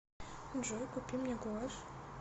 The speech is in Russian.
джой купи мне гуашь